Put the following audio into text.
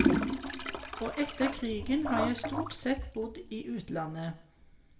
Og etter krigen har jeg stort sett bodd i utlandet.